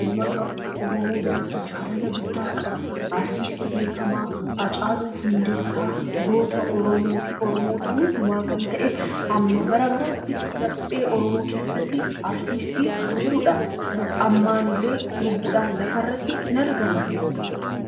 uummata Oromoo biratti jaalala guddaa qabu artistii beekamaa Haacaaluu Hundeessaa goota Oromoo fi oromoota hundumaa kan ta'e hamma bara baraatti laphee Oromoo keessatti artistii jirudha. Amma illee lubbuudhaan lafarratti hin argamu.